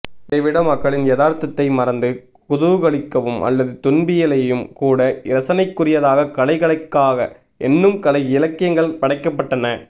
இதைவிட மக்களின் யதார்த்தத்தை மறந்து குதூகலிக்கவும் அல்லது துன்பியலையும் கூட இரசனைக்குரியதாக கலை கலைக்காக என்னும் கலை இலக்கியங்கள் படைக்கப்பட்டன